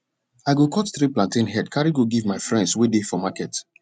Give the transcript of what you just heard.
i go cut three plantain head carry go give my friends wey dey for market